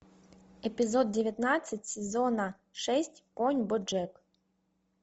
эпизод девятнадцать сезона шесть конь боджек